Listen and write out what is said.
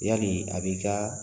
Yali a b'i ka